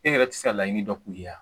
E yɛrɛ tɛ se ka laɲini dɔ k'u ye wa?